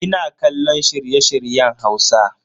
Ina kallon shirye-shiryen Hausa.